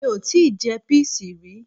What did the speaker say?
Mi ò tíì je píìsì rí